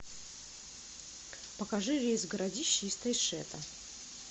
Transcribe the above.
покажи рейс в городище из тайшета